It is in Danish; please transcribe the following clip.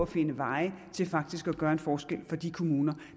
finde veje til faktisk at gøre en forskel for de kommuner